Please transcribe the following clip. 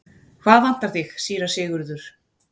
Hvað vantar þig, síra Sigurður?